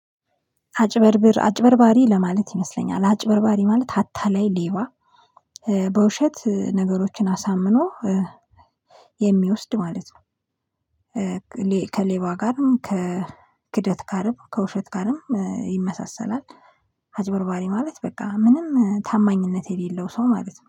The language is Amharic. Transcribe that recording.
አጭበርብር አጭበርባሪ ለማለት ይመስለኛል አጭበርባሪ ማለት አታላይ ሌባ በውሸት ነገሮችን አሳምኖ የሚወስድ ማለት ነው። ከሌባ ጋርም ከክህደት ጋርም ከውሸት ጋርም ይመሳሰላል። አጭበርባሪ ማለት በቃ ምንም ታማኝነት የሌለው ሰው ማለት ነው።